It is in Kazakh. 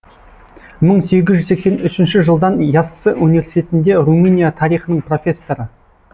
мың сегіз жүз сексен үшінші жылдан яссы университетінде румыния тарихының профессоры